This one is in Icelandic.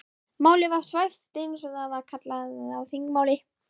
Málið var svæft eins og það er kallað á þingmáli.